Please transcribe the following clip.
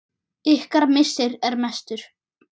Ykkar missir er mestur.